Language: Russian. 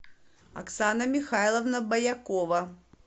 оксана михайловна боякова